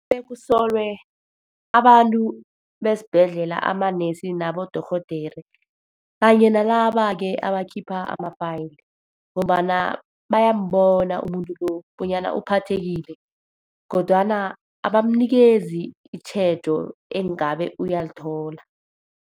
kusolwe abantu besibhedlela. Amanesi nabodorhodere, kanye nalaba-ke abakhipha ama-file. Ngombana bayambona umuntu lo bonyana uphathekile, kodwana abamnikezi itjhejo engabe uyalithola.